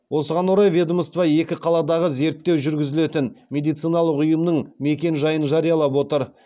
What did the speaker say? осыған орай ведомство екі қаладағы зерттеу жүргізілетін медициналық ұйымның мекен жайын жариялап отыр